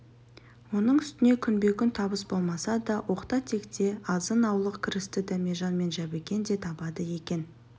оның үстіне күнбе-күн табыс болмаса да оқта-текте азын-аулық кірісті дәмежан мен жәбікен де табады екен